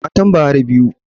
Matan Buhari biyu.